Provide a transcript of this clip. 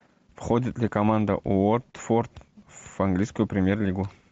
входит ли команда уотфорд в английскую премьер лигу